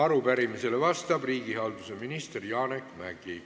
Arupärimisele vastab riigihalduse minister Janek Mäggi.